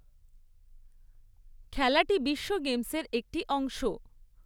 খেলাটি বিশ্ব গেমসের একটি অংশ।